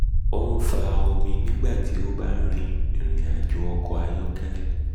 o n fa omi nigba ti o ba rin irin-ajo ni ọkọ ayọkẹlẹ ọkọ ayọkẹlẹ